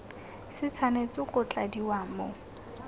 se tshwanetse go tladiwa mo